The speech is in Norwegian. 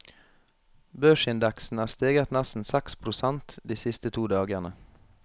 Børsindeksen er steget nesten seks prosent de siste to dagene.